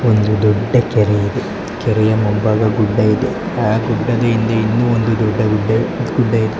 ಒಂದು ದೊಡ್ಡ ಕೆರೆ ಇದು ಆ ಕೆರೆಯ ಮುಂಭಾಗದಲ್ಲಿ ಗುಡ್ಡ ಇದೆ ಆ ಗುಡ್ಡದ ಹಿಂದೆ ಇನ್ನು ಒಂದು ಗುಡ್ಡ ಇದೆ.